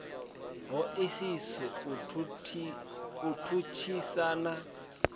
ho isiso u tshutshisa na